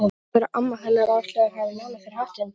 Og sagðirðu að amma hennar Áslaugar hafi lánað þér hattinn?